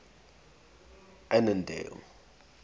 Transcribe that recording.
annandale